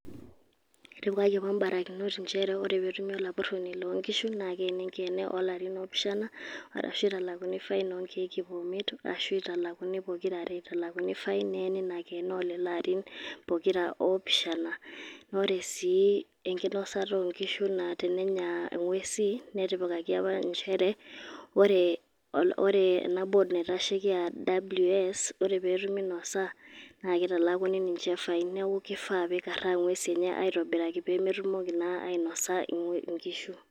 Kitipika yiook ibarakinot njere ore petumi olapurroni lo nkishu, na keeni enkeene olarin oopishana, arashu italakuni fain onkerk iip omiet, ashu italakuni pokira are. Italakuni fain neeni inakeene olelo arin pokira opishana. Ore si enkinosata onkishu na tenenya ing'uesi, netipikaki apa njere, ore ena board naitasheki a ws,ore petumi inosa, na kitalakuni ninche fain. Neeku kifaa pe ikarraa ing'uesi enye aitobiraki pemetumoki na ainosa inkishu.